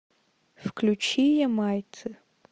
включи ямайцы